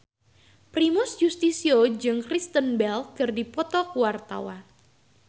Primus Yustisio jeung Kristen Bell keur dipoto ku wartawan